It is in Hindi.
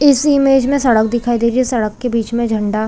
इस इमेज मे सड़क दिखाई दे रही है सड़क के बीच मे झंडा--